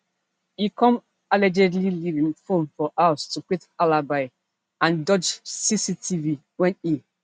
e come allegedly leave im phone for house to create alibi and dodge cctv wen e